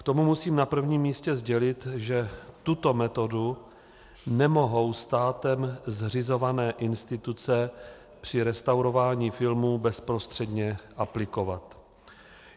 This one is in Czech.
K tomu musím na prvním místě sdělit, že tuto metodu nemohou státem zřizované instituce při restaurování filmů bezprostředně aplikovat.